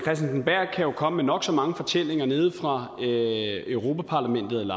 jo komme med nok så mange fortællinger nede fra europa parlamentet